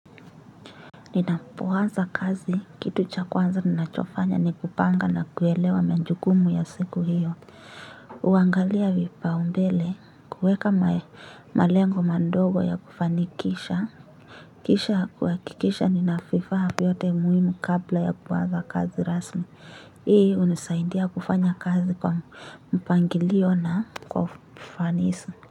Ninapoanza kazi kitu cha kwanza ninachofanya ni kupanga na kuelewa majukumu ya siku hiyo. Huangalia vipaumbele kuweka malengo madogo ya kufanikisha. Kisha kuhakikisha nina vifaa vyote muhimu kabla ya kuanza kazi rasmi hii hunisaindia kufanya kazi kwa mpangilio na kwa ufanisi.